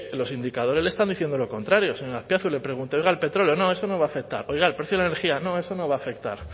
los indicadores le están diciendo lo contrario señor azpiazu le pregunto oiga el petróleo no eso no va a afectar oiga el precio de la energía no eso no va a afectar